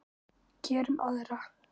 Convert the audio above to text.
Gerum aðra.